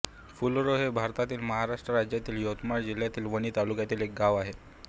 फुलोरा हे भारतातील महाराष्ट्र राज्यातील यवतमाळ जिल्ह्यातील वणी तालुक्यातील एक गाव आहे